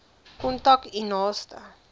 kontak u naaste